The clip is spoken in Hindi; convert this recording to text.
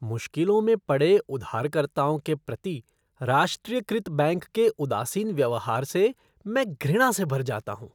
मुश्किलों में पड़े उधारकर्ताओं के प्रति राष्ट्रीयकृत बैंक के उदासीन व्यवहार से मैं घृणा से भर जाता हूँ।